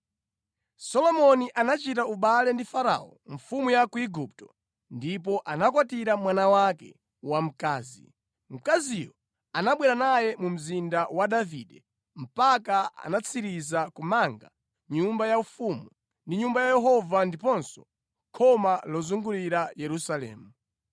Solomoni anachita ubale ndi Farao mfumu ya ku Igupto ndipo anakwatira mwana wake wamkazi. Mkaziyo anabwera naye mu Mzinda wa Davide mpaka anatsiriza kumanga nyumba yaufumu ndi Nyumba ya Yehova ndiponso khoma lozungulira Yerusalemu.